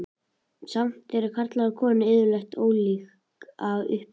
Samt eru karlar og konur yfirleitt ólík að upplagi.